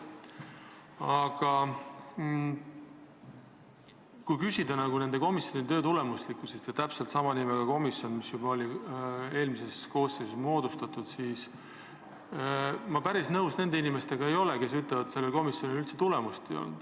Aga kui küsida nende komisjonide töö tulemuslikkuse kohta, arvestades, et täpselt sama nimega komisjon oli eelmises koosseisus, siis ma ei ole päris nõus nende inimestega, kes ütlevad, et selle komisjoni tööl üldse tulemust ei olnud.